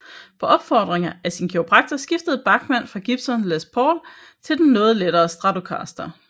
På opfordring af sin kiropraktor skiftede Bachman fra Gibsons Les Paul til den noget lettere Stratocaster